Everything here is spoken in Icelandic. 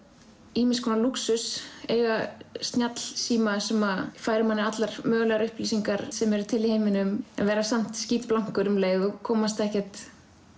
ýmis konar lúxus eiga snjallsíma sem færir manni allar mögulegar upplýsingar sem eru til í heiminum en vera samt skítblankur um leið og komast ekkert